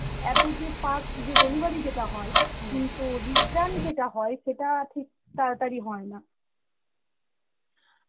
এত যে fast যে delivery যেটা হয় কিন্তু return যেটা হয় সেটা ঠিক তাড়াতাড়ি হয় না.